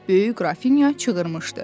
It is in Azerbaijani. Böyük qrafinya çığırmışdı.